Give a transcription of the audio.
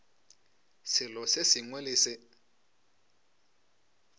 selo se sengwe le se